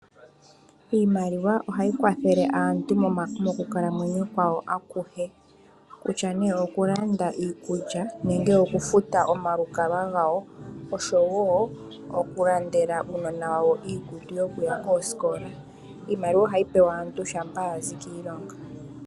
Iimaliwa ohayi kwathele aantu mokukalamwenyo kwawo akuhe kutya nee oku landa iikulya nenge oku futa omalukalwa oshowo oku landela uuunona wawo iikutu yoku ya koosikola. Iimaliwa ohayi pewa aantu shampa yazi kiilonga.